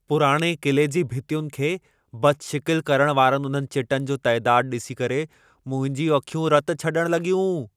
पुराणे क़िले जी भितियुनि खे बदशिकिलु करण वारनि उन्हनि चिटनि जो तइदादु ॾिसी करे मुंहिंजूं अखियूं रत छॾण लॻियूं।